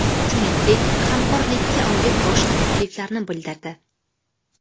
Shuningdek, hamkorlikka oid boshqa takliflarni bildirdi.